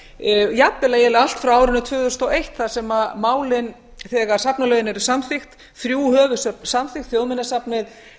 ábendingar jafnvel eiginlega allt frá árinu tvö þúsund og eitt þar sem málin þegar safnalögin eru samþykkt þrjú höfuðsöfn samþykkt þjóðminjasafnið